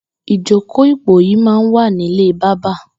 Ijókó ipóyì mà n wà nilé bàbà